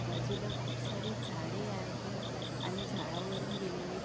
बाजूला खूप सारे झाडे आहेत आणि झाडावरुन गेलेले--